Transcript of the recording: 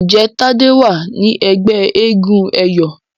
Njé Tade wá ní ègbé éégun eyọ?